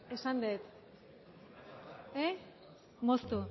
esan dut moztu